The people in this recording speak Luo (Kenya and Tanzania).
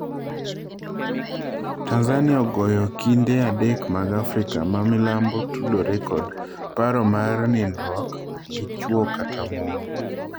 Tanzania ogoyo okinde adek mag Afrika ma milambo tudore kod paro mar nindruok gi chwo kata mon